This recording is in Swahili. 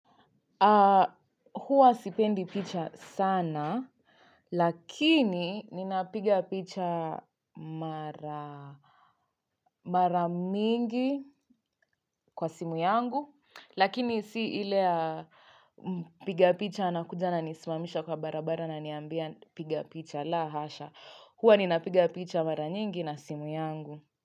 Huwa sipendi picha sana lakini ninapiga picha mara mingi kwa simu yangu lakini si ile ya mpiga picha anakuja ananisimamisha kwa barabara ananiambia piga picha la hasha. Huwa ninapiga picha mara mingi na simu yangu.